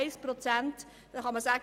1 Prozent mag gering erscheinen.